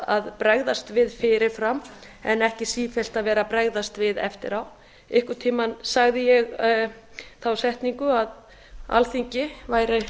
að bregðast fyrir fyrir fram en ekki sífellt vera að bregðast við eftir á einhvern tíma sagði ég þá setningu að alþingi væri